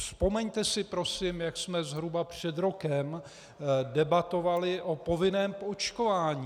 Vzpomeňte si prosím, jak jsme zhruba před rokem debatovali o povinném očkování.